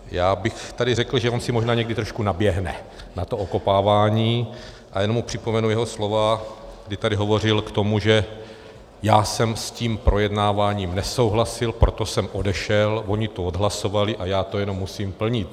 Já bych tady řekl, že on si možná někdy trošku naběhne na to okopávání, a jenom mu připomenu jeho slova, kdy tady hovořil k tomu, že "já jsem s tím projednáváním nesouhlasil, proto jsem odešel, oni to odhlasovali a já to jenom musím plnit".